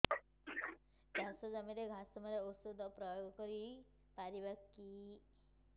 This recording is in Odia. ଚାଷ ଜମିରେ ଘାସ ମରା ଔଷଧ ପ୍ରୟୋଗ କରି ପାରିବା କି